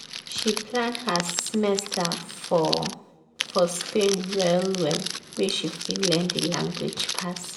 she plan her semester for for spain well well make she fit learn the language pass.